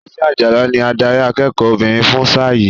Tosin Ajala ni adarí akẹ́kọ̀ọ́ obìnrin fún sáà yìí.